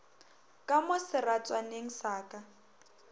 ka mo seratswaneng sa ka